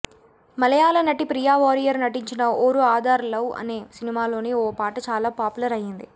మలయాళ నటి ప్రియా వారియర్ నటించిన ఒరు ఆదార్ లవ్ అనే సినిమాలోని ఓ పాట చాల పాపులర్ అయ్యింది